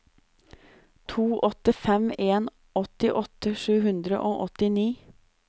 to åtte fem en åttiåtte sju hundre og åttini